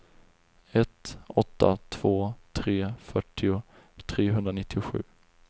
ett åtta två tre fyrtio trehundranittiosju